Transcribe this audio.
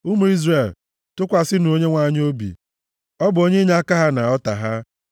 Ụmụ Izrel, tụkwasịnụ Onyenwe anyị obi ọ bụ onye inyeaka ha na ọta ha.